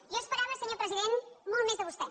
jo esperava senyor president molt més de vostè